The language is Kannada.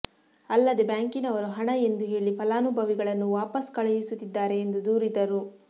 ಅಲ್ಲದೆ ಬ್ಯಾಂಕಿನವರು ಹಣ ಎಂದು ಹೇಳಿ ಫಲಾನುಭವಿಗಳನ್ನು ವಾಪಾಸ್ಸು ಕಳುಹಿಸುತ್ತಿದ್ದಾರೆ ಎಂದು ದೂರಿದರು